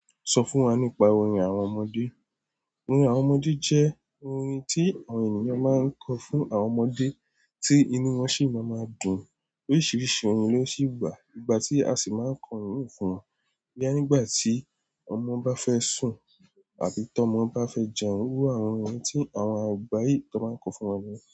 Sọ fún wa nípa orin àwọn ọmọdé. Orin àwọn ọmọdé jẹ́ orin tí àwọn ènìyàn máa ń kọ fún àwọn ọmọdé tí inú wọn sì máa ma dùn. Oríṣiríṣi orin ló sì wà. Ìgbà tí a sì máa ń kọ́ orin fún, boya nígbà tí ọmọ bá fẹ́ sùn. Àbí tí ọmọ bá fẹ́ jẹun, irú àwọn orin tí àwọn àgbà yìí máa ń kọ fún wọn ni.